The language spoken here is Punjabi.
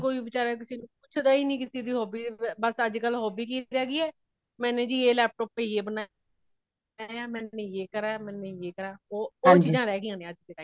ਅੱਜ ਕੱਲ ਕੋਈ ਵਿਚਾਰ ਕਿਸੇ ਨੂੰ ਪੁੱਛਦਾ ਹੀ ਨਹੀਂ ਕਿਸੇ ਦੀ hobby ਵ ਬੱਸ ਅੱਜ ਕੱਲ hobby ਕੀ ਰਹਿ ਗਈ ਹੇ ਮੇਨੇ ਜੀ laptop ਪੇ ਯੇ ਬਨਾਯਾ , ਮੇਨੇ ਯੇ ਕਰਾ, ਮੇਨੇ ਯੇ ਕਰਾ, ਬੱਸ ਓਹੀ ਚੀਜਾਂ ਰਹਿ ਗਈਆਂ ਨੇ ਅੱਜ ਦੇ time ਵਿਚ।